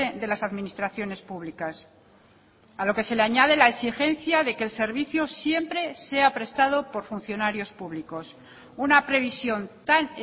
de las administraciones públicas a lo que se le añade la exigencia de que el servicio siempre sea prestado por funcionarios públicos una previsión tan